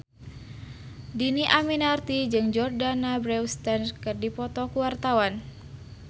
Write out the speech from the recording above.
Dhini Aminarti jeung Jordana Brewster keur dipoto ku wartawan